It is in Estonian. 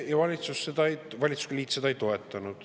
Ja valitsusliit seda ei toetanud.